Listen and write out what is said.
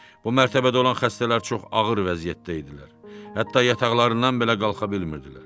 Bu mərtəbədə olan xəstələr çox ağır vəziyyətdə idilər, hətta yataqlarından belə qalxa bilmirdilər.